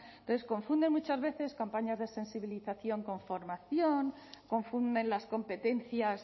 entonces confunden muchas veces campañas de sensibilización con formación confunden las competencias